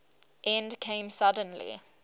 end came suddenly